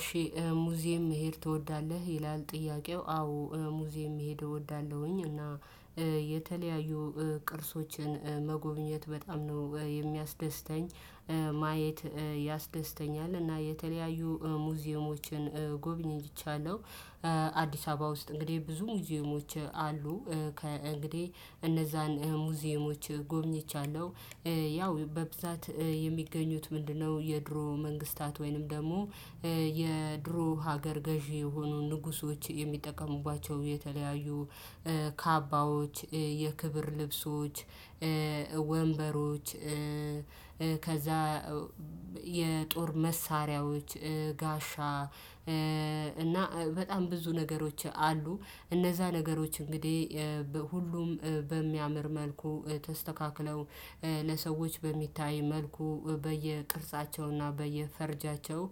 እሺ ሙዚየም መሄድ ትወዳለህ ይላል? ጥያቄው አዎ ሙዚየም መሄድ እወዳለሁኝ። እና የተለያዩ ቅርሶችን መጎብኘት በጣም ነው የሚያስደስተኝ ማየት ያስደስተኛል። እና የተለያዩ ሙዚየሞችን ጎብኝቻለሁ። አዲስ አበባ ውስጥ እንግዲህ ብዙ ሙዚየሞች አሉ። ከ እንግዲህ እነዛን ሙዚየሞች ጎብኝቻለሁ። በብዛት የሚገኙት ምንድነው? የድሮ መንግስታት ወይንም ደግሞ የድሮ ሀገር ገዢ የሆኑ ንጉሶች የሚጠቀሙባቸው የተለያዩ ካባዎች የክብር ልብሶች ወንበሮች ከዛ የጦር መሳሪያዎች ጋሻ እና በጣም ብዙ ነገሮች አሉ። እነዛ ነገሮች እንግዲህ ሁሉም በሚያምር መልኩ ተስተካክለው ለሰዎች በሚታይ መልኩ በየቅርጻቸውና በየፈርጃቸው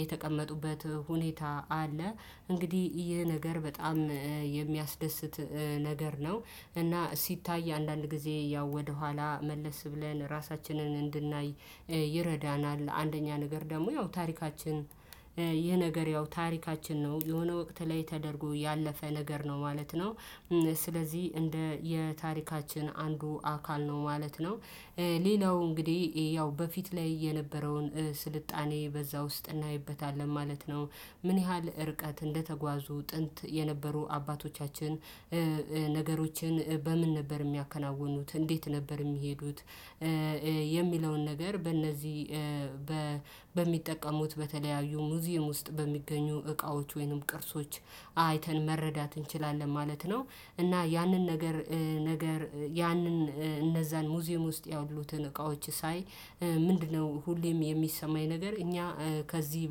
የተቀመጡበት ሁኔታ አለ። እንግዲህ ይህ ነገር በጣም የሚያስደስት ነገር ነው። እና ሲታይ አንዳንድ ጊዜ ያው ወደኋላ መለስ ብለን ራሳችንን እንድናይ ይረዳናል። አንደኛ ነገር ደግሞ ያው ታሪካችን ይህ ነገር ያው ታሪካችን ነው የሆነ ወቅት ላይ ተደርጎ ያለፈ ነገር ነው ማለት ነው። ስለዚህ እንደ የታሪካችን አንዱ አካል ነው ማለት ነው። ሌላው እንግዲህ ያው በፊት ላይ የነበረውን ስልጣኔ በዛ ውስጥ እናይበታለን ማለት ነው። ምን ያህል እርቀት እንደተጓዙ ጥንት የነበሩ አባቶቻችን ነገሮችን በምን ነበር የሚያከናውኑት እንዴት ነበር የሚሄዱት? የሚለውን ነገር በእነዚህ በሚጠቀሙት በተለያዩ ሙዚየም ውስጥ በሚገኙ እቃዎች ወይንም ቅርሶች አይተን መረዳት እንችላለን ማለት ነው። እና ያንን ነገር ነገር ያንን እነዛን ሙዚየም ውስጥ ያሉትን እቃዎች ሳይ ምንድነው ሁሌም የሚሰማኝ ነገር እኛ ከዚህ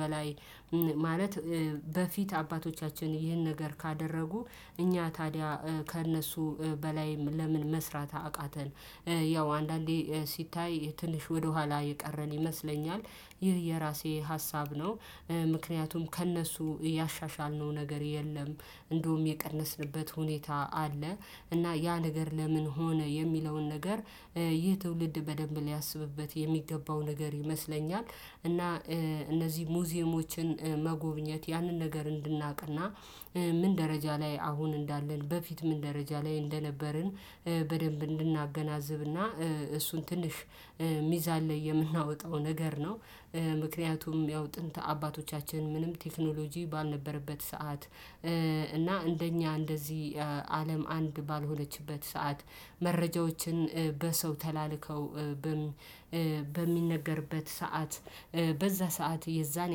በላይ ማለት በፊት አባቶቻችን ይህን ነገር ካደረጉ እኛ ታዲያ ከእነሱ በላይ ለምን መስራት አቃተን? ያው አንዳንዴ ሲታይ ትንሽ ወደኋላ የቀረን ይመስለኛል ይህ የራሴ ሀሳብ ነው። ምክንያቱም ከእነሱ ያሻሻል ነው ነገር የለም። እንደውም የቀነስንበት ሁኔታ አለ። እና ያ ነገር ለምን ሆነ የሚለውን ነገር ይህ ትውልድ በደንብ ሊያስብበት የሚገባው ነገር ይመስለኛል። እና እነዚህ ሙዚየሞችን መጎብኘት ያንን ነገር እንድናቅና ምን ደረጃ ላይ አሁን እንዳለን በፊት ምን ደረጃ ላይ እንደነበርን በደንብ እንድናገናዝብና እሱን ትንሽ ሚዛን ላይ የምናወጣው ነገር ነው። ምክንያቱም ያው ጥንት አባቶቻችን ምንም ቴክኖሎጂ ባልነበረበት ሰዓት እና እንደኛ እንደዚህ አለም አንድ ባልሆነችበት ሰዓት መረጃዎችን በሰው ተላልከው በሚነገርበት ሰዓት በዛ ሰዓት የዛን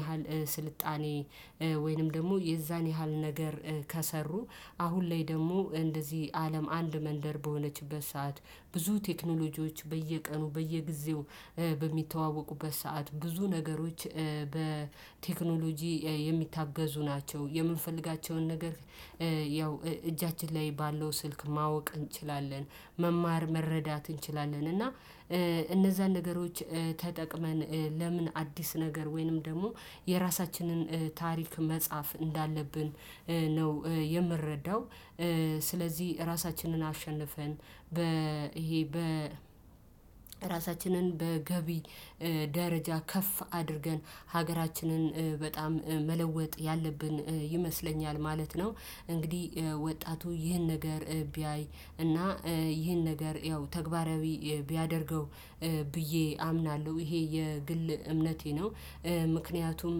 ያህል ስልጣኔ ወይንም ደግሞ የዛን ያህል ነገር ከሰሩ አሁን ላይ ደግሞ እንደዚህ አለም አንድ መንደር በሆነችበት ሰዓት ብዙ ቴክኖሎጂዎች በየቀኑ በየጊዜው በሚተዋወቁበት ሰዓት ብዙ ነገሮች በቴክኖሎጂ የሚታገዙ ናቸው። የምንፈልጋቸውን ነገር ያው እጃችን ላይ ባለው ስልክ ማወቅ እንችላለን። መማር መረዳት እንችላለን። እና እነዛን ነገሮች ተጠቅመን ለምን አዲስ ነገር ወይንም ደግሞ የራሳችንን ታሪክ መጻፍ እንዳለብን ነው። ምረዳው ስለዚህ ራሳችንን አሸንፈን በ ይሄ በ ራሳችንን በገቢ ደረጃ ከፍ አድርገን ሀገራችንን በጣም መለወጥ ያለብን ይመስለኛል ማለት ነው። እንግዲህ ወጣቱ ይህን ነገር ቢያይ እና ይህን ነገር ያው ተግባራዊ ቢያደርገው ብዬ አምናሎህ ይሄ የግል እምነቴ ነው። ምክንያቱም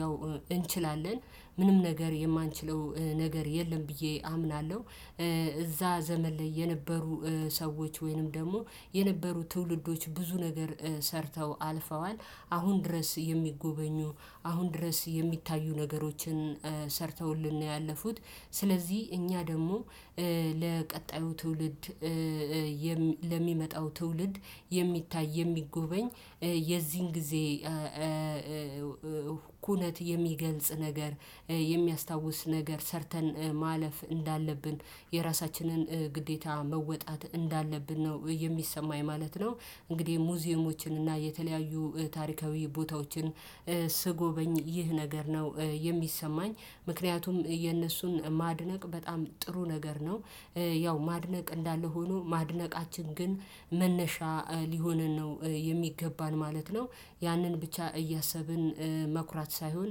ያው እንችላለን ምንም ነገር የማንችለው ነገር የለም ብዬ አምናሎህ። እዛ ዘመን ላይ የነበሩ ሰዎች ወይንም ደግሞ የነበሩ ትውልዶች ብዙ ነገር ሰርተው አልፈዋል አሁን ድረስ የሚጎበኙ አሁን ድረስ የሚታዩ ነገሮችን ሰርተውልን ነው ያለፉት። ስለዚህ እኛ ደግሞ ለቀጣዩ ትውልድ ለሚመጣው ትውልድ የሚታይ የሚጎበኝ የዚህን ጊዜ ኩነት የሚገልጽ ነገር የሚያስታውስ ነገር ሰርተን ማለፍ እንዳለብን የራሳችንን ግዴታ መወጣት እንዳለብን ነው የሚሰማኝ ማለት ነው። እንግዲህ ሙዚየሞችን እና የተለያዩ ታሪካዊ ቦታዎችን ስጎበኝ ይህ ነገር ነው የሚሰማኝ ምክንያቱም የእነሱን ማድነቅ በጣም ጥሩ ነገር ነው። ያው ማድነቅ እንዳለ ሆኖ ማድነቃችን ግን መነሻ ሊሆንን ነው የሚገባን ማለት ነው። ያንን ብቻ እያሰብን መኩራት ሳይሆን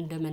እንደመን